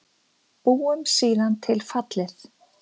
Búum síðan til fallið